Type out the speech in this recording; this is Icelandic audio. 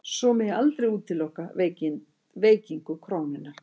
Svo megi aldrei útiloka veikingu krónunnar